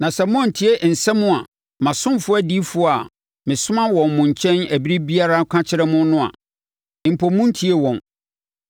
na sɛ moantie nsɛm a mʼasomfoɔ adiyifoɔ a mesoma wɔn mo nkyɛn ɛberɛ biara no ka kyerɛ mo no a, (mpo monntiee wɔn),